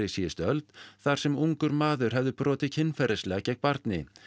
síðustu öld þar sem ungur maður hefði brotið kynferðislega gegn barni